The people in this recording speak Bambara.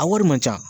A wari man ca